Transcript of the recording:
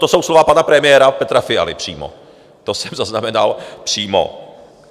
To jsou slova pana premiéra Petra Fialy přímo, to jsem zaznamenal přímo.